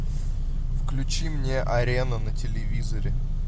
включи мне арену на телевизоре